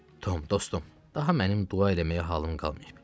Tom, dostum, daha mənim dua eləməyə halım qalmayıb.